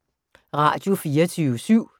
Radio24syv